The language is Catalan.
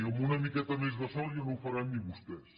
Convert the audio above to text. amb una miqueta més de sort ja no ho faran ni vostès